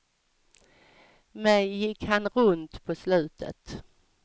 Mig gick han runt på slutet.